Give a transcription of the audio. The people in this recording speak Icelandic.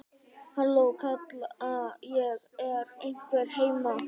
Halló, kalla ég, er einhver heima?